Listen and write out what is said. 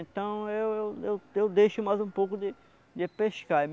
Então eu eu eu eu deixo mais um pouco de de pescar.